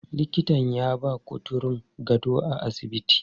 Likitan ya ba kuturun gado a asibitin.